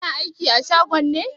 Kana aiki a shagon ne?